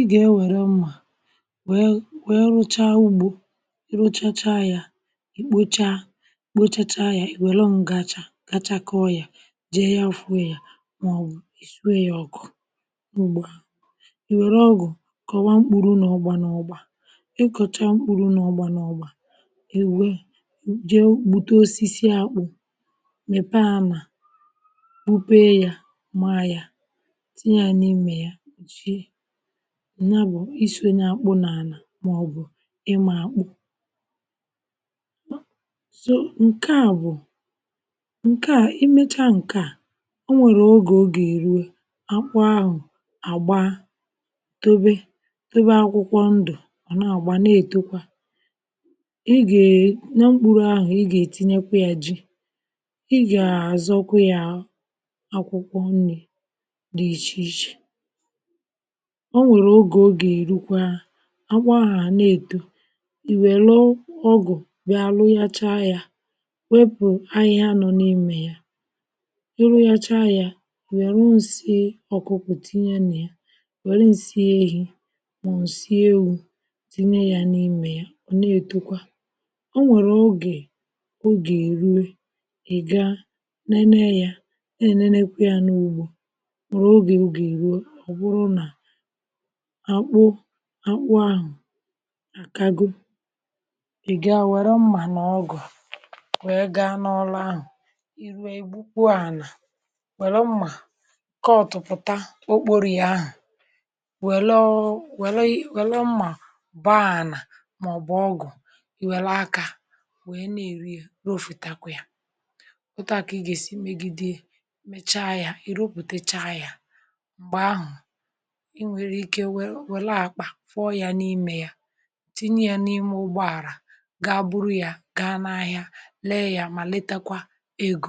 ịgà ewèrè mmȧ wẹẹ wẹẹ rụcha ugbo rụchacha yȧ ikpocha ikpo chacha yȧ welu ǹgàchà gachakọ yȧ jee yȧ afụ yȧ màọbụ̀ ìsue yȧ ọkụ̇ m̀gbè iwere ọgụ̀ kọ̀wa mkpùru n’ọ̀gbà n’ọ̀gbà ikọ̀cha mkpùru n’ọ̀gbà n’ọ̀gbà iwe jee gbute osisi akpụ̇ mẹ̀pẹ ànà wupee yȧ maȧ yȧ tinye ya n’imė ya mkpụchie ǹya bụ̀ isọ nye akpụ n’ànà màọbụ̀ ịmȧ akpụ. so nke à bụ̀ nke à imecha nke à o nwèrè ogè ọ gà èrue akwa ahụ̀ àgba dobe dobe akwụkwọ ndụ̀ ọ̀ nà àgba nà ètọkwa ị gà e na mkpuru ahụ̀ ị gà ètinyekwa yȧ jị ị gà àzọkwu yȧ akwụkwọ nri dị̇ iche ichè o nwèrè ogè ogè erukwaa akpụ ahụ a na-èto ì wèlụ ọgụ̀ bịa irụghachaa ya wepù ahịhịa nọ n’imė ya i rụghacha ya iwèru ǹsị ọkụ̇kụ tinye nà ya wère ǹsị ehi mà ọ ǹsị ewu̇ tinye ya n’imė ya ò na-etokwa o nwèrè ogè ogè rue ị̀ga nene ya e nene nekwe ya n’ugbȯ nwèrè ogè ogè èruo ọ̀bụrụ nà akpụ ahụ̀ akago ị gaa wère mmà na ọgụ̀ wee gaa n’ụlọ̀ ahụ̀ ị ruo igbukpuà anà wère mmà kọ̀tụ̀pụ̀ta ọkpọrọ yà ahụ̀ wère mma bọọ ana maọbụ ọgụ̀ i wère akà we nà-èri yà rọ fụta yà o tụ à kà ị gà-èsi imegide ya mechaa yà ì rupùtecha yà m̀gbè ahụ̀ ịwere ike wèrè akpà fọyà n’imė yà tinye yà n’ime ụgbọàrà gaa buru yà gaa n’ahịà lè yà mà letakwà egȯ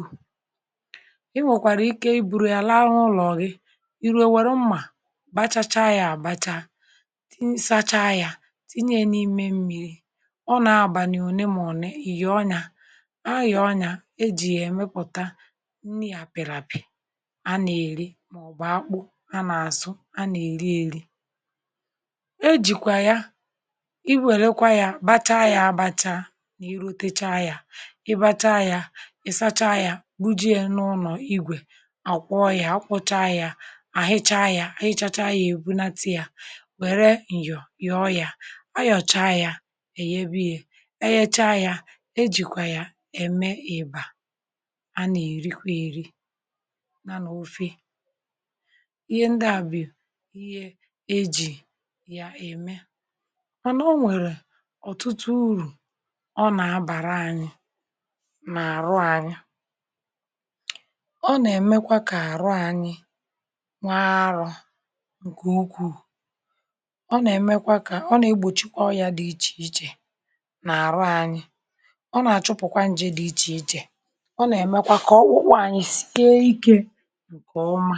i nwèkwàrà ike i buru yà là áhụ̇ ụlọ̀ gì ìru iwere mmà bachacha yà àbacha sacha yà tinye yà n’ime mmiri ọ nọ-abàlị̀ òne màọ̀ne i yọ nyà a yọ nyà e jì yà èmepùta nni àpịràpịà a nà-èri màọ̀bụ̀ akpụ a nà-àsụ a na eri eri e jìkwà ya iwèrekwa ya bacha ya àbacha n’iru techa ya ị bacha ya ị sacha ya bu jee n’ụlọ̀ igwè àkwọ ya akwọcha ya àhịcha ya ahịchacha ya èbunata ya wère ǹyọ̀ yọ ya ayọ̀cha ya èyèbi ya e yechaa ya e jìkwà ya ème ị̀bà a nà èrịkwa èrị nya n’ofè ihe ndị à bù ihe eji ya eme mana o nwere ọ̀tụtụ urù ọ na-abàra ànyị nà-àrụ ànyị ọ nà-èmekwa kà àrụ ànyị nwa arọ̇ ǹkè ukwuù ọ nà-èmekwa kà ọ nà-egbòchi ọrịȧ dị ichè ichè nà àrụ ànyị ọ nà-àchụpụ̀kwa ǹjè dị ichè ichè ọ nà-èmekwa kà ọ ọkpụpụ anyị sie ikė ǹkè ọma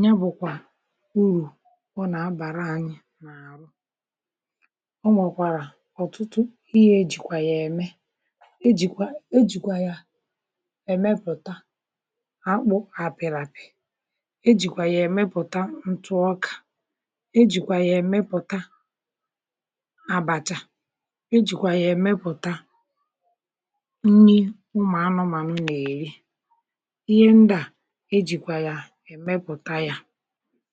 nya bụkwa ụrụ ọ nà-abàra anyị n’àhụ. ọ nwekwàrà ọ̀tụtụ ihe ejìkwà yà ème ejìkwà ejìkwà yà èmepụ̀ta akpụ àpịrị̀ apị̀ ejìkwà yà èmepụ̀ta ntụọkà ejìkwà yà èmepụ̀ta àbàcha ejìkwà yà èmepụ̀ta nni ụmụ̀ anụmà nụ nà-èri ihe ndà ejìkwà yà èmepụ̀ta yà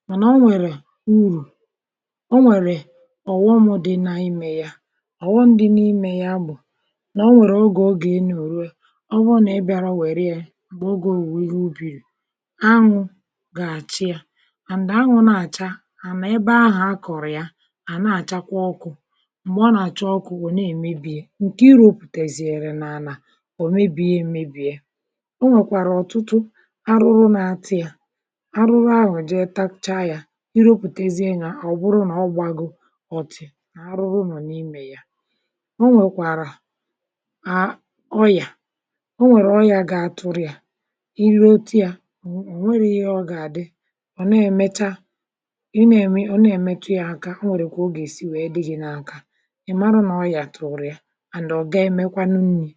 maṅa o nwèrè ụrụ ọnwere ọ̀ghọmụ dị na imė ya ọ̀ghọmụ dị n’imė ya bụ̀ nà o nwèrè ogè o gà-enyo ruo ọ bụrụ nà i bịara o bia wèrè ya m̀gbè ogė owùrụ ubìrurụ anwụ̇ gà-àchị ya and anwụ̇ na-àcha anà ebe ahụ̀ akọ̀rịa ya ana-àchakwa ọkụ̇ mgbe ọ nà-àcha ọkụ̇ ọ̀ na-èmebìe ya ǹkè i rụpụ̀tàzìrì nà-ànà ọ̀ mebìe emebìe o nwèkwàrà ọ̀tụtụ arụrụ na-ata ya arụrụ ahụ je tacha ya irụpụtaziri nya ọbụrụ na ọ gbago ọ̀tị̀ nà arụrụ nọ̀ n’imė ya ọ nwèkwàrà à ọyà o nwèrè ọyà gà-atụ̇rụ̇ ya irụ ti ya ọ̀ nwere ihe ọ gà-àdị ọ̀ na mecha ịna ẹ̀mẹtụ ya aka o nwèrè kà ọ gà-èsi di gi na aka i marụ nà ọ yà tụ̀rụ̀ ya and ọ ga emekwanụ nni.